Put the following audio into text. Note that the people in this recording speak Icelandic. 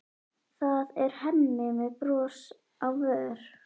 Það er Hemmi með bros á vör.